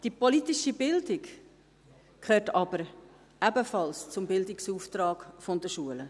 Die politische Bildung gehört aber ebenfalls zum Bildungsauftrag der Schulen.